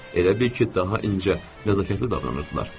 Elə bil ki, daha incə, nəzakətli davranırdılar.